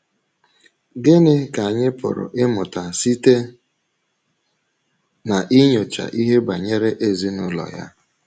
Gịnị ka anyị pụrụ ịmụta site n’inyocha ihe banyere ezinụlọ ya?